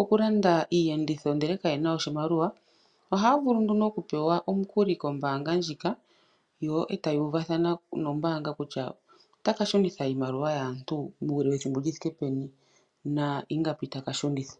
okulanda iiyenditho ndele kayena oshimaliwa, ohaya vulu nduno okupewa omukuli kombaanga ndjika yo etaya uvathana nombaanga kutya otaka shunitha iimaliwa yaantu uule wethimbo li thike peni na ingapi taka shunitha.